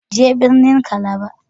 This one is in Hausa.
Je birnin Calabar.